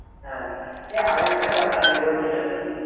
হ্যা এ আরেকটা কথা আমি বলছিলাম কি,